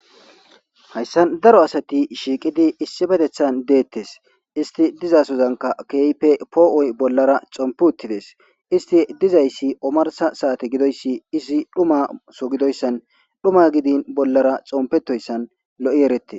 Hayssa daro asati shiiqidi issippeththetan deetees. Istti diza asadankka keehippe poo7oy bollara xomppi uttidees. Istti dizayssi omarssa saate gidoyssi izi dhummaso gidoyssan, dhuma gidin bollara xomppetoyssan lo7i eretees.